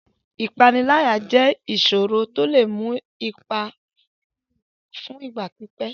Ìpániláyà jẹ́ ìṣòro ńlá tó lè ní ipa fún ìgbà pípẹ́.